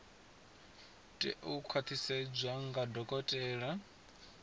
tea u khwaṱhisedzwa nga dokotela